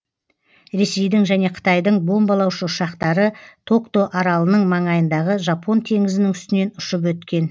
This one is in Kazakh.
ресейдің және қытайдың бомбалаушы ұшақтары токто аралының маңайындағы жапон теңізінің үстінен ұшып өткен